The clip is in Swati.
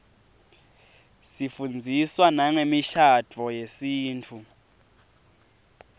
sifundziswa nangemishadvo yesintfu